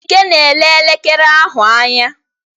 Ike na-ele elekere ahụ anya.